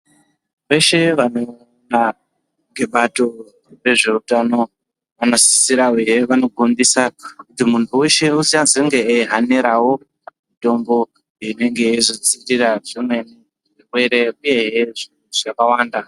Veshe vanoona ngebato rezveutano vanosisira hee vanogondisa kuti muntu weshe uchazenge eyihanirawo mitombo inenge yeizo dzivirira zimweni zvirwere nezvimwe zvaķawanda.